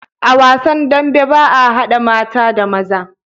A wasan dambe baa hada mata da maza